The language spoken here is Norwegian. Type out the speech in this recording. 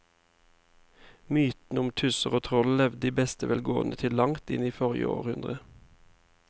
Mytene om tusser og troll levde i beste velgående til langt inn i forrige århundre.